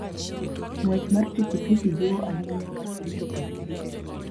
Ng'wech mar pikipiki jiwo ahinya wach rito pach ji.